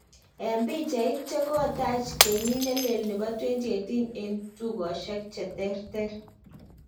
Eng pichait, chekotach keykit nelee nepo 2018eng tukoshiek che terter.